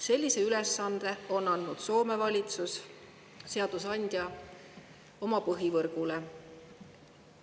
Sellise ülesande on andnud Soome valitsus ja seadusandja oma põhivõrgu.